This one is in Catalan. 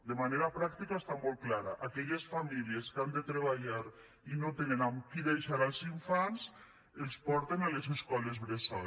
de manera pràctica està molt clara aquelles famílies que han de treballar i no tenen amb qui deixar els infants els porten a les escoles bressol